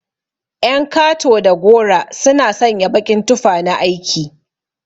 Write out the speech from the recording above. Ƴan kato da garo suna sanya baƙin tufa na aiki.